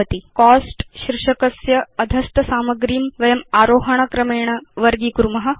चिन्तयतु कोस्ट्स् शीर्षकस्य अधस्थ सामग्रे वर्गीकरणं वयं आरोहण क्रमेण कर्तुम् इच्छाम